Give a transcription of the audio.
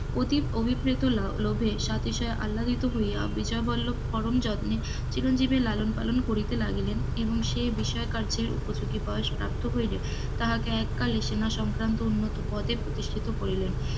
অতিপ অভিপ্রেত লোভে সাথে সে আল্লাদিত হইয়া বিজয় বল্লভ পরম যত্নে চিরঞ্জীবের লালন পালন করিতে লাগিলেন, এবং সে বিষয় কার্যে উপযোগী বয়স প্রাপ্ত হইলে, তাহাকে এক কালে সেনা সংক্রান্ত পদে প্রতিষ্ঠিত করিলেন,